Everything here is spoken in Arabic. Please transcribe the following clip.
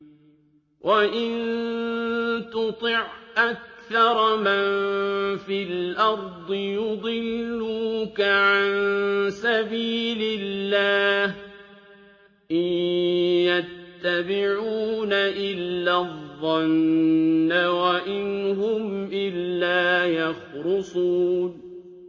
وَإِن تُطِعْ أَكْثَرَ مَن فِي الْأَرْضِ يُضِلُّوكَ عَن سَبِيلِ اللَّهِ ۚ إِن يَتَّبِعُونَ إِلَّا الظَّنَّ وَإِنْ هُمْ إِلَّا يَخْرُصُونَ